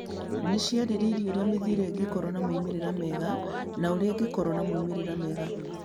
Nĩ ciarĩrĩirie ũrĩa mĩthiĩre ĩyo ĩngĩkorũo na moimĩrĩro mega na ũrĩa ĩngĩkorũo na moimĩrĩro mega.